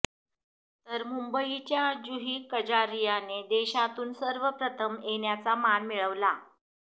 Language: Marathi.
तर मुंबईच्या जुही कजारियाने देशातून सर्वप्रथम येण्याचा मान मिळवला